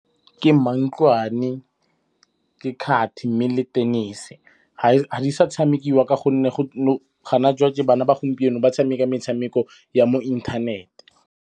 Ke mantlwane, ke kgathi mme le tenese. Ga di sa tshamekiwa ka gonne gona bana ba gompieno ba tshameka metshameko ya mo inthanete.